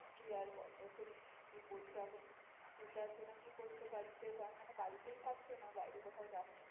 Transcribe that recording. দিয়ে আর বলো তুমি কি করছো এখন? বসে আছো না কি করছো বাড়িতে বা মানে বাড়িতেই থাকছো না বাইরে কোথাও যাচ্ছ?